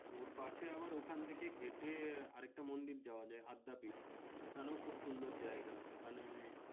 ওর পাশে আবার ওখানে থেকে হাঁটে আরেকটা মন্দির যাওয়া যায় আদ্যাপীঠ। ওখানেও খুব সুন্দর জায়গা। ওখানে